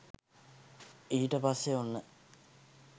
ඊට පස්සෙ ඔන්න